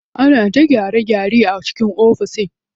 Ana ta gyare gyare a cikin ofishin.